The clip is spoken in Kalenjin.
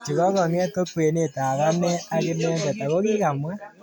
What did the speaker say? Chokokonget ko kwenet ab ane ak inendet ako kimwa.